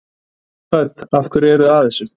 Hödd: Af hverju eruð þið að þessu?